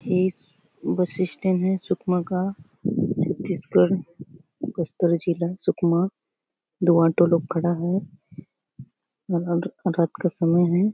ये bus stand है सुकमा का छत्तीसगढ़ बस्तर जिला सुकमा दो ऑटो लोग खड़ा है रा रात का समय है।